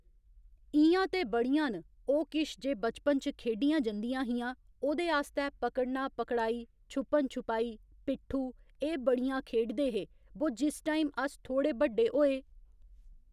इ'यां ते बड़ियां न ओह् किश जे बचपन च खेढियां जंदियां हियां ओह्दे आस्तै पकड़ना पकड़ाई छुप्पन छुपाई पिट्ठू एह् बड़ियां खेढ़दे हे बो जिस टाईम अस थोह्ड़े बड्डे होये